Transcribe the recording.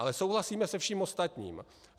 Ale souhlasíme se vším ostatním.